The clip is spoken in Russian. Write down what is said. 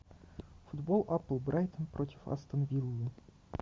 футбол апл брайтон против астон виллы